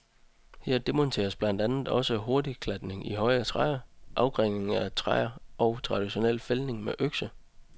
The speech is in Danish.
Her demonstreres blandt andet også hurtigklatning i høje træer, afgrening af træer og traditionel fældning med økse.